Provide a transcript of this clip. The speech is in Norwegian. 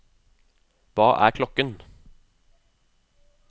hva er klokken